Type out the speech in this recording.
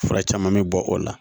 Fura caman bɛ bɔ o la